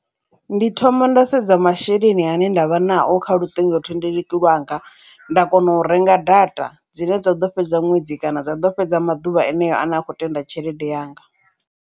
Ndi thoma nda sedza masheleni ane nda vha nayo kha luṱingothendeleki lwanga nda kona u renga data dzine dza ḓo fhedza ṅwedzi kana zwa ḓo fhedza maḓuvha haneyo ane a kho tenda tshelede yanga.